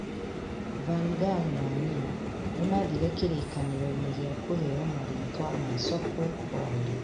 Van Gaal na Neyo nĩ maathire kĩririkano-inĩ gĩa kũheo marĩĩtwa ma Sokwe Rwanda